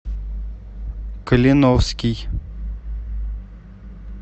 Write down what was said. калиновский